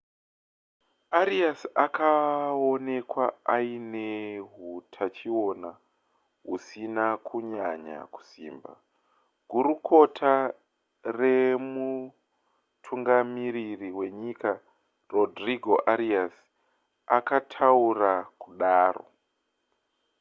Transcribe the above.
arias akaonekwa aine hutachiona husina kunyanya kusimba gurukota remutungamiriri wenyika rodrigo arias akataura kudaro